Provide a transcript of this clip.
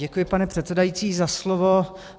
Děkuji, pane předsedající, za slovo.